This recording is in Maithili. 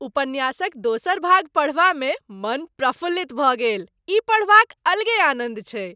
उपन्यासक दोसर भाग पढ़बामे मन प्रफुल्लित भऽ गेल। ई पढ़बाक अलगे आनन्द छै।